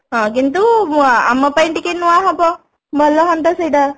ହଁ କିନ୍ତୁ ଆମ ପାଇଁ ଟିକେ ନୂଆ ହବ ଭଲ ହୁଅନ୍ତା ସେଇଟା